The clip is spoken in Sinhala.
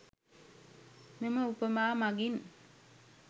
මෙම උපමා මගින්